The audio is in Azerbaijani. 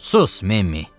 Sus, Memmi!